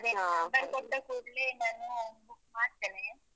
ಅದೇ number ಕೊಟ್ಟ ಕೂಡ್ಲೇ ನಾನು book ಮಾಡ್ತೇನೆ.